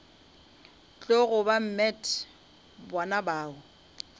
tlogo ba met bona bao